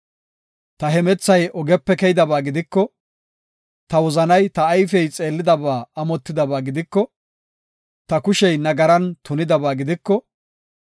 Ta hemethay ogepe keydaba gidiko, ta wozanay ta ayfey xeellidaba amotidaba gidiko, ta kushey nagaran tunidaba gidiko,